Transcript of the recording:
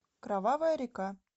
кровавая река